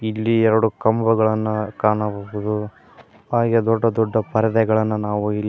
ಇಲ್ಲಿ ಎರಡು ಕಂಬಗಳನ್ನು ಕಾಣಬಹುದು ಹಾಗೆ ದೊಡ್ಡ ದೊಡ್ಡ ಪರದೆಗಳನ್ನು ನಾವು ಇಲ್ಲಿ--